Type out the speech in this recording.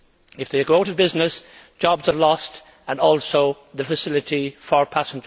If they go out of business, jobs are lost and the facility for passengers is also lost.